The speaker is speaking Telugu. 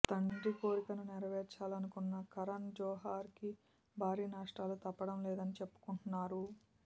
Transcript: తండ్రి కోరికను నెరవేర్చాలనుకున్న కరణ్ జొహార్ కి భారీ నష్టాలు తప్పడం లేదని చెప్పుకుంటున్నారు